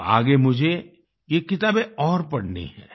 अब आगे मुझे ये किताबें और पढ़नी हैं